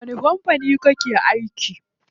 A wani kampani kake aiki?